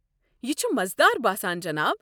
یہِ چھُ مزٕدار باسان جِناب۔